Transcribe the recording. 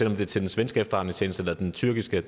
om det er til den svenske efterretningstjeneste eller den tyrkiske